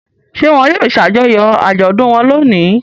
Ṣé wọn yóò ṣàjọyọ̀ àjọ̀dún wọn lónìí?